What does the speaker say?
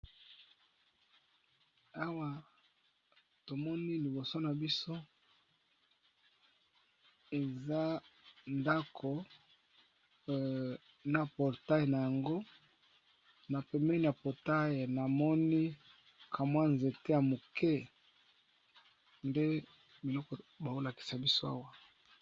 Awa tomoni liboso na biso eza ndako na portaile na yango na pembeni ya portaile na moni kamwa nzete ya moke nde biloko baolakisa biso awa.